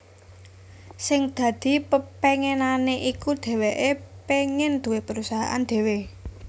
Sing dadi pepénginané iku dhèwèké pengin duwé perusahaan dhéwé